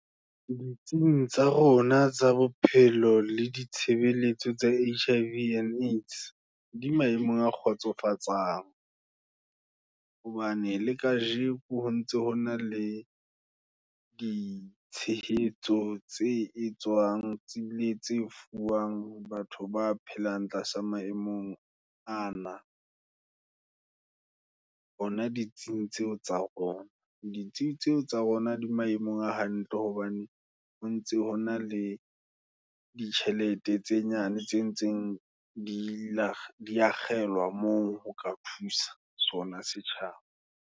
Ditsing tsa rona tsa bophelo, le ditshebeletso tsa Hiv and Aids, di maemong a kgotsofatsang, hobane le kajeko ho ntse hona le ditshehetso, tse etswang, Tsebele tse fuwang, batho ba phelang, tlasa maemong ana, hona ditsing tseo tsa rona. Ditsing tseo tsa rona, di maemong a hantle, hobane o ntse hona le ditjhelete, tse nyane tse ntseng, di la di akgellwa moo, ho ka thusa sona setjhaba,